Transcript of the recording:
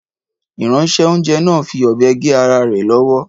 Ìránṣẹ́-oúnjẹ náà fi ọ̀bẹ gé ara rẹ̀ lọ́wọ́